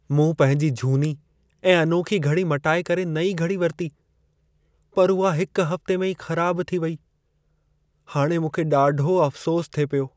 मूं पंहिंजी झूनी ऐं अनोखी घड़ी मटाए करे नईं घड़ी वरिती, पर उहा हिकु हफ़्ते में ई ख़राब थी वेई। हाणे मूंखे ॾाढो अफ़सोस थिए पियो।